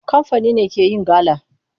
Kamfani ne ke yin gala.